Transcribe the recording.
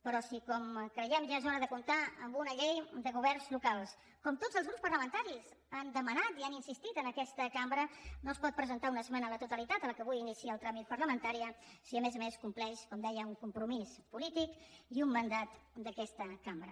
però si com creiem ja és hora de comptar amb una llei de governs locals com tots els grups parlamentaris han demanat i han insistit en aquesta cambra no es pot presentar una esmena a la totalitat a la que avui inicia el tràmit parlamentari si a més a més compleix com deia un compromís polític i un mandat d’aquesta cambra